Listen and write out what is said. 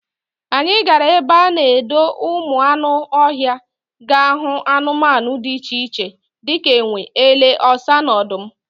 Anyị gara ebe a na-edo ụmụ anụ ọhịa ga hụ anụmanụ dị iche iche dịka enwe, ele, ọsa na odum